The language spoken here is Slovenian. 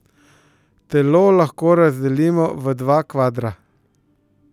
Telo lahko razdelimo v dva kvadra.